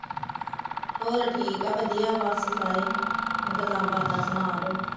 ਹੋਰ ਠੀਕ ਆ ਵਧੀਆ ਬਸ ਸਾਰੇ ਗੱਲਾਂ ਬਾਤਾਂ ਸੁਣਾ ਤੂੰ